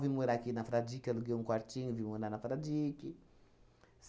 Vim morar aqui na Fradique, aluguei um quartinho e vim morar na Fradique.